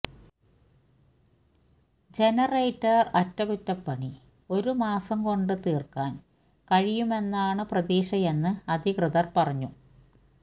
generator അറ്റകുറ്റപ്പണി ഒരു മാസം കൊണ്ട് തീര്ക്കാന് കഴിയുമെന്നാണു പ്രതീക്ഷയെന്ന് അധികൃതര് പറഞ്ഞു